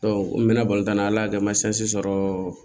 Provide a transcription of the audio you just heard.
n mɛna tan na ala de ma sɔrɔ